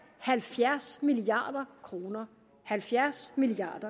halvfjerds milliard kroner halvfjerds milliard